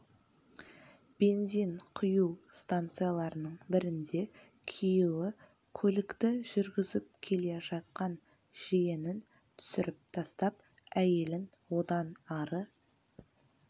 бензин құю станцияларының бірінде күйеуі көлікті жүргізіп келе жатқан жиенін түсіріп тастап әйелін одан ары